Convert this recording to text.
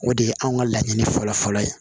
O de ye anw ka laɲini fɔlɔ fɔlɔ ye